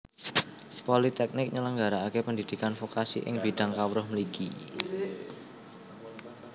Politèknik nyelenggarakaké pendhidhikan vokasi ing bidang kawruh mligi